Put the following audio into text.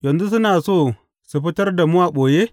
Yanzu suna so su fitar da mu a ɓoye?